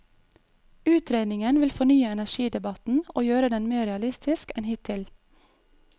Utredningen vil fornye energidebatten og gjøre den mer realistisk enn hittil.